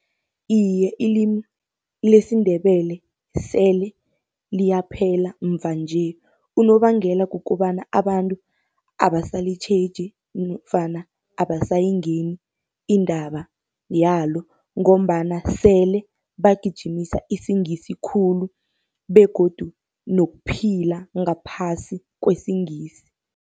Iye, ilimi lesiNdebele sele liyaphela muva-nje, unobangela kukobana abantu abasalitjheji nofana abasayingeni indaba yalo. Ngombana sele bagijimisa isiNgisi khulu begodu nokuphila ngaphasi kwesiNgisi.